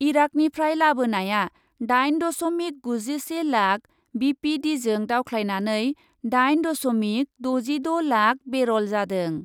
इराकनिफ्राय लाबोनाया दाइन दस'मिक गुजिसे लाख बिपिडिजों दावख्लायनानै दाइन दस'मिक दजिद' लाख बेरल जादों।